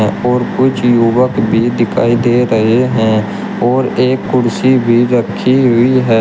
और कुछ युवक भी दिखाई दे रहे हैं और एक कुर्सी भी रखी हुई है।